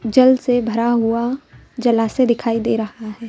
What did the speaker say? जल से भरा हुआ जलाते दिखाई दे रहा है।